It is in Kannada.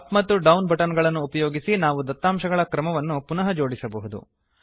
ಅಪ್ ಮತ್ತು ಡೌನ್ ಬಟನ್ ಗಳನ್ನು ಉಪಯೋಗಿಸಿ ನಾವು ದತ್ತಾಂಶಗಳ ಕ್ರಮವನ್ನು ಪುನಃ ಜೋಡಿಸಬಹುದು